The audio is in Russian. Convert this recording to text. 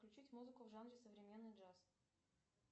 включить музыку в жанре современный джаз